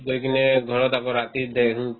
গৈ কিনে ঘৰত আকৌ ৰাতি